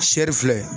Sere filɛ